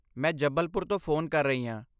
ਮੈਂ ਜਬਲਪੁਰ ਤੋਂ ਫ਼ੋਨ ਕਰ ਰਹੀ ਹਾਂ।